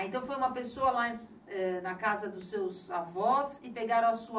Ah, então foi uma pessoa lá, eh, na casa dos seus avós e pegaram a sua